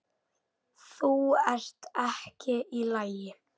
Þú ert ekki í lagi.